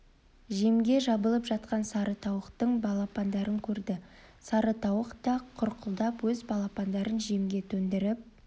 жемге жабылып жатқан сары тауықтың балапандарын көрді сары тауық та құрқылдап өз балапандарын жемге төндіріп